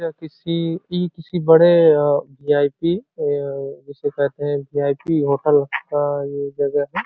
यह किसी- इ किसी बड़े वी आई पी अ- उसे कहते हैं वी आई पी होटल का ये जगह है।